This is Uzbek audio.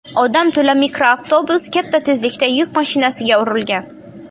Odam to‘la mikroavtobus katta tezlikda yuk mashinasiga urilgan.